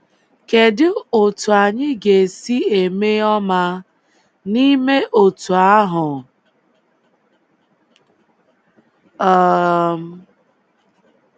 Kedu otú anyị ga-esi eme ọma n’ime otú ahụ? um.